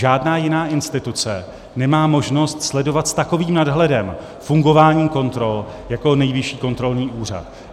Žádná jiná instituce nemá možnost sledovat s takovým nadhledem fungování kontrol jako Nejvyšší kontrolní úřad.